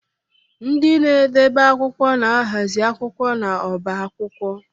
Ndị na-edebe akwụkwọ na-ahazi akwụkwọ n'ọbá akwụkwọ